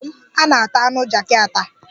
N'obodo m, a na-ata anụ jakị ata.